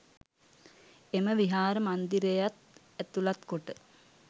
එම විහාර මන්දිරයත් ඇතුළත් කොට